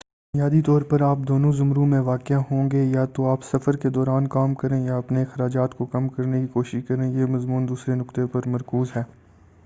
بنیادی طور پر آپ دو زمروں میں واقع ہوں گے یا تو آپ سفر کے دوران کام کریں یا اپنے اخراجات کو کم کرنے کی کوشش کریں یہ مضمون دوسرے نکتے پر مرکوز ہے